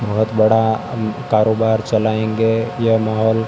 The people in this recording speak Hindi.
बहोत बड़ा कारोबार चलाएंगे यह मॉल --